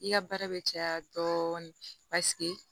I ka baara bɛ caya dɔɔnin paseke